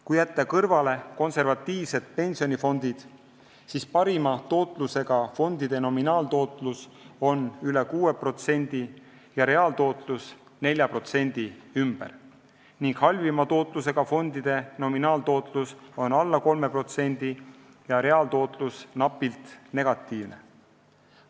Kui jätta kõrvale konservatiivsed pensionifondid, siis parima tootlusega fondide nominaaltootlus on üle 6% ja reaaltootlus 4% ümber ning halvima tootlusega fondide nominaaltootlus on alla 3% ja reaaltootlus napilt negatiivne.